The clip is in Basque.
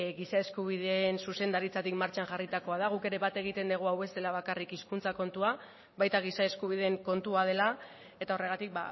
giza eskubideen zuzendaritzatik martxan jarritakoa da guk ere bat egiten dugu hau ez dela bakarrik hizkuntza kontua baita giza eskubideen kontua dela eta horregatik